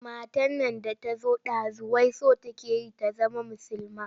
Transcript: Matar nan da ta zo ɗazu wai so take ta zama musulma.